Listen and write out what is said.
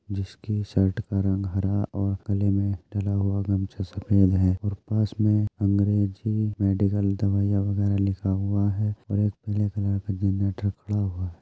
जिसके शर्ट का रंग हरा और गले में गमछा सफेद है और पास में अंग्रेजी मेडिकल दवाईया वगैरा लिखा हुआ है और एक पीले कलर का जनरेटर खड़ा हुआ है।